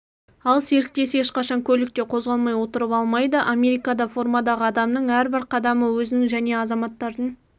ал серіктесі ешқашан көлікте қозғалмай отырып алмайды америкада формадағы адамның әрбір қадамы өзінің жне азаматтардың